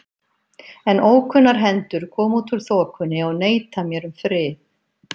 En ókunnar hendur koma út úr þokunni og neita mér um frið.